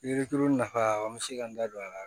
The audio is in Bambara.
Yirituru nafa an bɛ se ka n da don a la